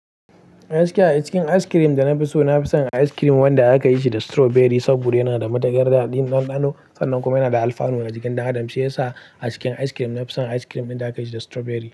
A gaskiya a cikin ice cream da na fi so, na fi son ice cream wanda aka yi shi da strawberry saboda yana da matukar daɗin ɗanɗano, sannan kuma yana da alfanu a jikin ɗan adam, shi ya sa a cikin ice cream na fi son ice cream ɗin da aka yi shi da strawberry.